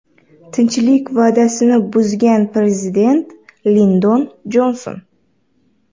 Tinchlik va’dasini buzgan prezident Lindon Jonson.